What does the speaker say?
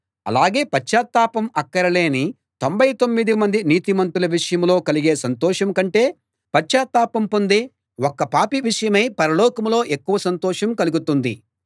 అలాగే పశ్చాత్తాపం అక్కరలేని తొంభై తొమ్మిది మంది నీతిమంతుల విషయంలో కలిగే సంతోషం కంటే పశ్చాత్తాపం పొందే ఒక్క పాపి విషయమై పరలోకంలో ఎక్కువ సంతోషం కలుగుతుంది